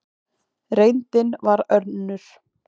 Reyndin varð önnur.